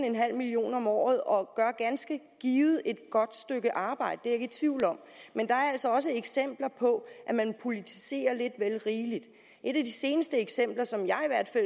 million kroner om året og gør ganske givet et godt stykke arbejde det er i tvivl om men der er altså også eksempler på at man politiserer lidt vel rigeligt et af de seneste eksempler som jeg er